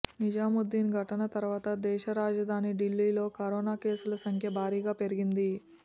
నిజాముద్దీన్ ఘటన తర్వాత దేశ రాజధాని ఢిల్లీలో కరోనా కేసుల సంఖ్య భారీగా పెరిగింది